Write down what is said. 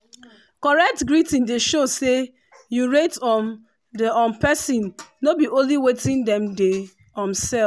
correct greeting dey show say you rate um the um persin no be only wetin dem dey um sell.